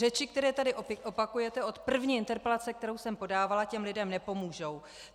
Řeči, které tady opakujete od první interpelace, kterou jsem podávala, těm lidem nepomůžou.